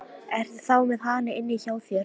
Ertu þá með hana inni hjá þér?